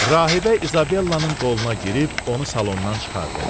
Rahibə İzabellanın qoluna girib onu salondan çıxartdı.